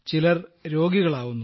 ചിലർ രോഗികളാവുന്നു